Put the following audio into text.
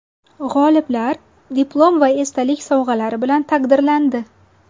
G‘oliblar diplom va esdalik sovg‘alari bilan taqdirlandi.